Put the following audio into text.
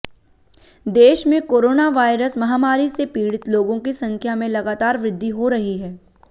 देश में कोरोनावायरस महामारी से पीड़ित लोगों की संख्या में लगातार वृद्धि हो रही है